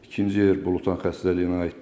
İkinci yer Blutan xəstəliyinə aiddir.